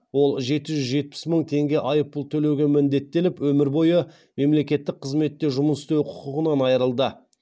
ол жеті жүз жетпіс мың теңге айыппұл төлеуге міндеттеліп өмір бойы мемлекеттік қызметте жұмыс істеу құқығынан айырылды